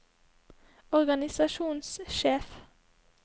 organisasjonssjef